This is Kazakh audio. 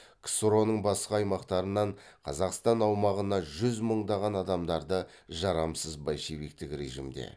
ксро ның басқа аймақтарынан қазақстан аумағына жүз мыңдаған адамдарды жарамсыз большевиктік режимде